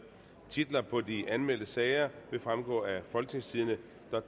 titler på de anmeldte sager vil fremgå af folketingstidende